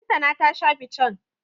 Lantana ta sha fican.